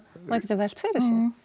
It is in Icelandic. maður getur velt fyrir